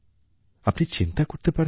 আপনি চিন্তা করতে পারেন